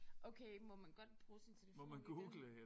Okay må man godt bruge sin telefon i det